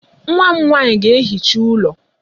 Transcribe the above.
Nwa m nwaanyị ga-ehicha ụlọ.